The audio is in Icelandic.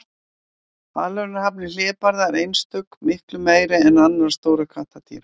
Aðlögunarhæfni hlébarða er einstök, miklu meiri en annarra stórra kattardýra.